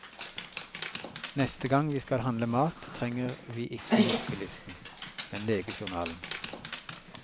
Neste gang vi skal handle mat trenger vi ikke huskelisten, men legejournalen.